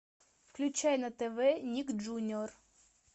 включай на тв ник джуниор